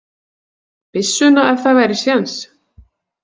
Byssuna ef það væri séns.